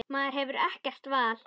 Maður hefur ekkert val.